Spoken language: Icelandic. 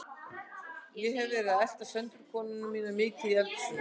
Ég hef verið að elta Söndru konuna mína mikið í eldhúsinu.